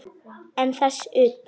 En þess utan?